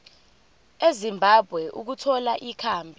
ezimbabwe ukuthola ikhambi